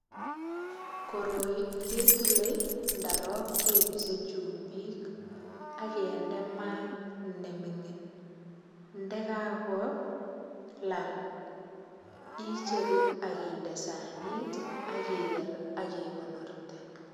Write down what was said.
Koroi ketile ndarok kepise chumbik ak kende mat nemingin. Ndakakolal icheru ak inde sanit ak iger ak igonorte.